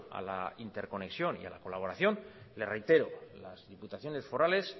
a la interconexión a la colaboración le reitero las diputaciones forales